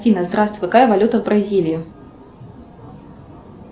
афина здравствуй какая валюта в бразилии